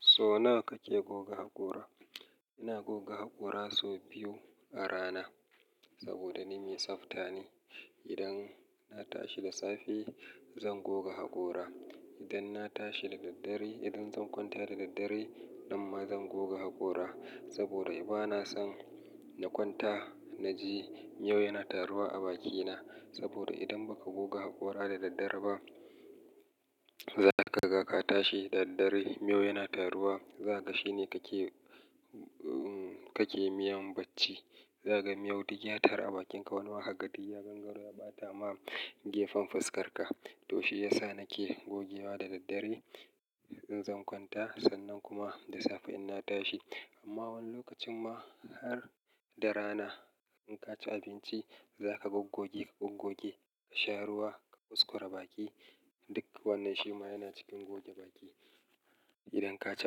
So nawa kake goga haƙora? Ina goga haƙora sau biyu a rana saboda ni mai tsafta ne. Idan na tashi da safe, zan goga haƙora. Idan na tashi da daddare, idan zan kwanta da daddare, nan ma zan goge haƙora. Saboda ba na son na kwanta na ji miyau yana taruwa a bakina. Saboda idan ba ka goga haƙora da daddare ba, za ka ga ka tashi da daddare miyau yana taruwa. Za ka ga shi ne kake, kake miyan bacci. Za ka ga miyau duk ya taru a bakinka. Wani wahaka, datti, ya gangaro ya ɓata ma gefen faskarka. To shi ya sa nake gogewa da daddare idan zan kwanta, sannan kuma da safe in na tashi. Amma wani lokacin ma har da rana in ka ci abinci, za ka goggogi, ka goggogi ka sha ruwa, ka kuskora baki. Duk wannan shi ma yana cikin goge baki idan ka ci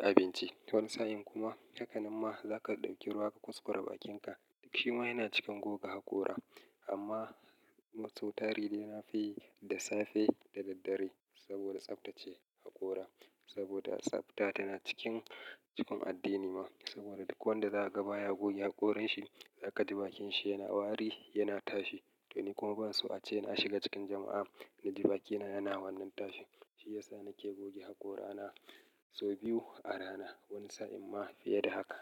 abinci. Wani sa'in kuma, hakanen ma za ka ɗauki ruwa ka kuskora bakinka. Duk shi ma yana cikin goga haƙora. Amma sau tare dai na fi yi da safe da daddare saboda tsabtacche haƙora. Saboda tsabta tana cikin cikin addini ma. Saboda duk wanda za a ga baya goge haƙoran shi, za ka ji bakin shi yana wari, yana tashi. To ni kuma ba su a ce na shiga cikin jama'a na ji bakina yana wannan tashi. Shi ya sa nake goge haƙora na sau biyu a rana. Wani sa'in ma fiye da haka.